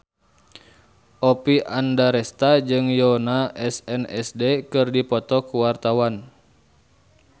Oppie Andaresta jeung Yoona SNSD keur dipoto ku wartawan